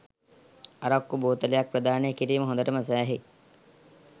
අරක්කු බෝතලයක් ප්‍රදානය කිරීම හොඳටම සෑහේ